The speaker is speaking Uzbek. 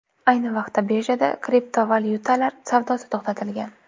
Ayni vaqtda birjada kriptovalyutalar savdosi to‘xtatilgan.